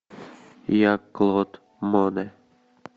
я клод моне